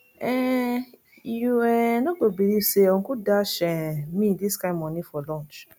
um you um no go believe say uncle dash um me dis kin money for lunch